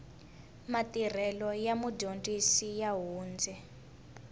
matirhelo ya mudyondzi ya hundze